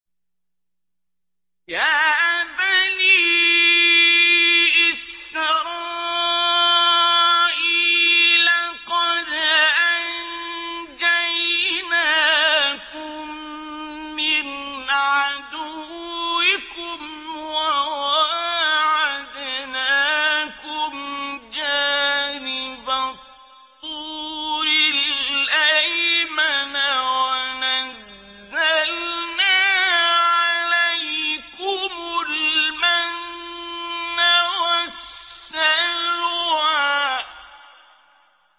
يَا بَنِي إِسْرَائِيلَ قَدْ أَنجَيْنَاكُم مِّنْ عَدُوِّكُمْ وَوَاعَدْنَاكُمْ جَانِبَ الطُّورِ الْأَيْمَنَ وَنَزَّلْنَا عَلَيْكُمُ الْمَنَّ وَالسَّلْوَىٰ